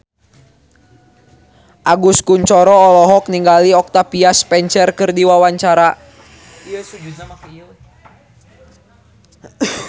Agus Kuncoro olohok ningali Octavia Spencer keur diwawancara